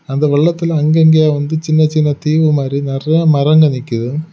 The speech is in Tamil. அந்த வெள்ளத்துல அங்கங்க வந்து சின்ன சின்ன தீவு மாதிரி நிறைய மரங்கள் நிக்குது.